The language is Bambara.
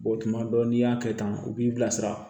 tuma dɔ la n'i y'a kɛ tan u b'i bilasira